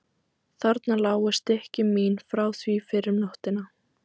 Þarna lágu stykki mín frá því fyrr um nóttina.